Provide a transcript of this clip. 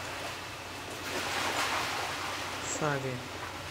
саве